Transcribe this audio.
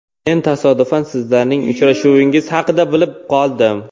Men tasodifan sizlarning uchrashuvingiz haqida bilib qoldim.